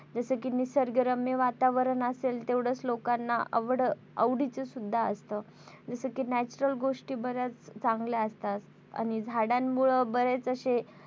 जस कि निसर्गरम्य वातावरण असेल तेवढंच लोकांना आवड आवडीचं सुद्धा असत जस कि natural गोष्टी बऱ्याच चांगल्या असतात. आणि झाडांमुळे बरेच असे,